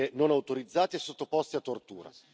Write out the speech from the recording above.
non autorizzate e sottoposti a tortura.